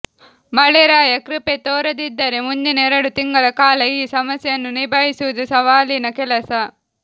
ಮಳೆರಾಯ ಕೃಪೆ ತೋರದಿದ್ದರೆ ಮುಂದಿನ ಎರಡು ತಿಂಗಳ ಕಾಲ ಈ ಸಮಸ್ಯೆಯನ್ನು ನಿಭಾಯಿಸುವುದು ಸವಾಲಿನ ಕೆಲಸ